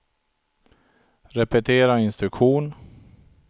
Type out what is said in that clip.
repetera instruktion